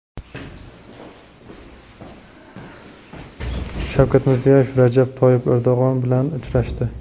Shavkat Mirziyoyev Rajab Toyyib Erdo‘g‘on bilan uchrashdi.